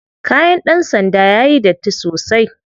Kayan ɗan sanda yayi datti sosai.